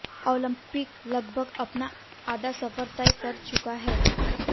Olympic लगभग अपना आधा सफर तय कर चुका है